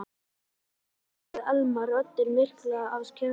Gat nú skeð sagði Elma, röddin myrkvuð af kergju.